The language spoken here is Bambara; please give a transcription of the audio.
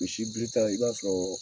Misi birita i b'a sɔrɔ